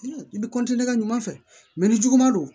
I bɛ ka ɲuman fɛ ni juguman don